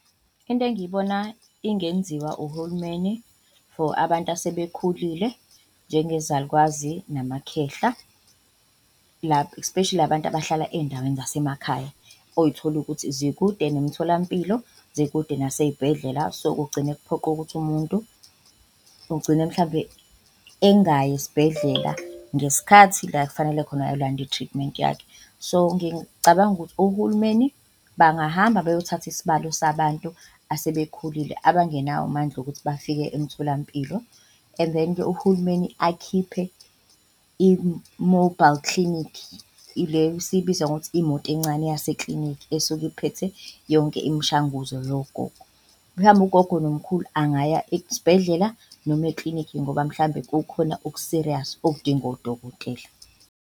Into engiyibona ingenziwa uhulumeni for abantu asebekhulile njengezalukwazi namakhekhe especially la bantu abahlala eyindaweni zasemakhaya, oyithola ukuthi zikude nemitholampilo, zikude nasey'bhedlela so, kugcine kuphoqe ukuthi umuntu ugcine mhlambe engayi esibhedlela ngesikhathi la kufanele khona ayolanda i-treatment yakhe. So, ngicabanga ukuthi uhulumeni bangahamba bayothatha isibalo sabantu asebekhulile abangenawo amandla ukuthi bafike emtholampilo, and then uhulumeni akhiphe i-mobile clinic ile esiyibiza ngokuthi imoto encane yase-klinikhi esuke iphethe yonke imishanguzo yogogo. Ugogo nomkhulu angaya esibhedlela noma eklinikhi ngoba mhlambe kukhona oku-serious okudinga odokotela.